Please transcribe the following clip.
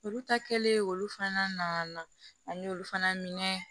Olu ta kɛlen olu fana na an y'olu fana minɛ